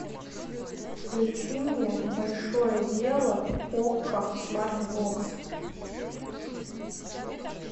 включи мне большое дело окко смарт бокс